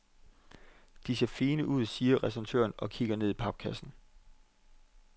De ser fine ud, siger restauratøren og kigger ned i papkassen.